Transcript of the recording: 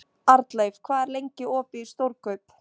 Arnleif, hvað er lengi opið í Stórkaup?